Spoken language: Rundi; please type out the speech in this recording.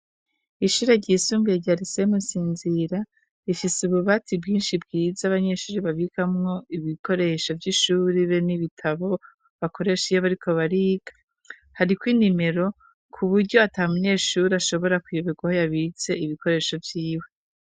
Ishure ryisumbuye rya rise ryamusinzira rifise ububatsi bwinshi bwiza abanyeshuri bavikamwo ibikoresho vy'ishuri be n'ibitabo bakoresha iyobo ariko bariga hari ko inimero ku buryo atamunyeshuri ashobora kuyoba irwa ho yabitse ibikoresho vyiwe.